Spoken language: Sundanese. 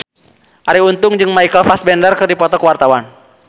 Arie Untung jeung Michael Fassbender keur dipoto ku wartawan